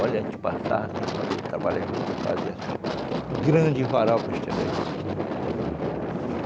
Olha, a gente passava assim, quando eu trabalhava em juta, eu fazia assim, grande varal para estender a juta.